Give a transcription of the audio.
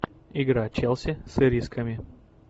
игра челси с ирисками